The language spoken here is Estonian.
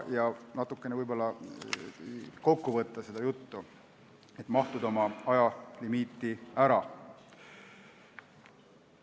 Ma võib-olla võtan seda juttu kokku, et ajalimiiti ära mahtuda.